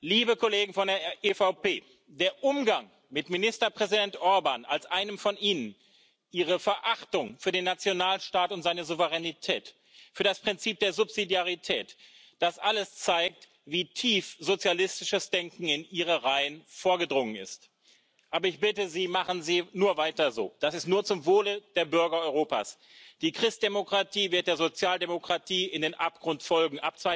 Liebe Kollegen von der EVP, der Umgang mit Ministerpräsident Orbán als einem von Ihnen, Ihre Verachtung für den Nationalstaat und seine Souveränität, für das Prinzip der Subsidiarität das alles zeigt, wie tief sozialistisches Denken in Ihre Reihen vorgedrungen ist. Aber ich bitte Sie Machen Sie nur weiter so, das ist nur zum Wohle der Bürger Europas! Die Christdemokratie wird der Sozialdemokratie in den Abgrund folgen.